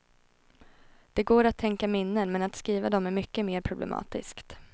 Det går att tänka minnen, men att skriva dem är mycket mer problematiskt.